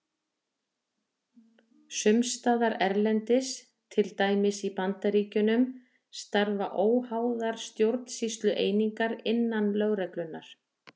Sums staðar erlendis, til dæmis í Bandaríkjunum, starfa óháðar stjórnsýslueiningar innan lögreglunnar.